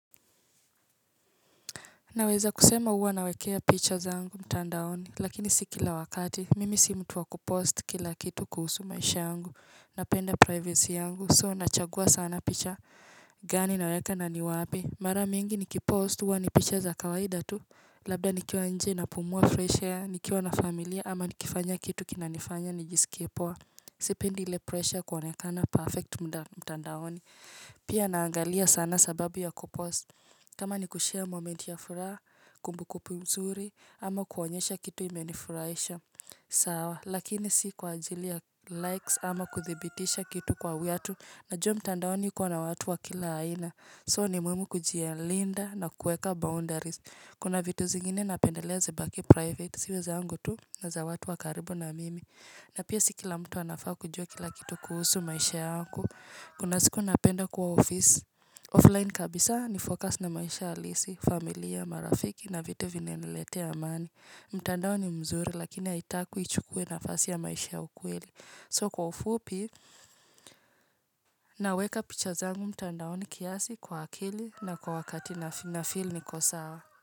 Naweza kusema uwa nawekea picture zangu mtandaoni, lakini sikila wakati, mimi si mtu wa kupost kila kitu kuhusu maisha yangu, napenda privacy angu, so nachagua sana picture gani naweka naniwa api. Mara mingi nikipost uwa ni pictures akawaida tu, labda nikiawa nje na pumua fresh air, nikiawa na familia ama nikifanya kitu kinanifanya nijisikiepua. Sipindi ile pressure kuonekana perfect mtandaoni Pia naangalia sana sababu ya kupost kama ni kushare moment ya furaha kumbukumbu mzuri ama kuonyesha kitu imenifuraisha sawa lakini si kwa ajili ya likes ama kuthibitisha kitu kwa watu Najua mtandaoni kwa na watu wa kila haina So ni muhimu kujialinda na kueka boundaries Kuna vitu zingine napendelea zibaki private siweza angu tu nga za watu wakaribu na mimi na pia siki la mtu anafaa kujua kila kitu kuhusu maisha yangu, kuna siku napenda kuwa ofisi. Offline kabisa nifocus na maisha halisi, familia, marafiki na vitu vinelete amani. Mtandao ni mzuri lakini haitaku ichukwe na fasi ya maisha ya ukweli. So kwa ufupi, naweka picha zangu mtandao ni kiasi kwa akili na kwa wakati na fili ni kosa wa.